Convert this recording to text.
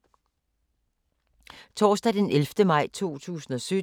Torsdag d. 11. maj 2017